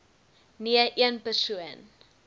nee een persoon